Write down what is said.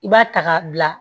I b'a ta k'a bila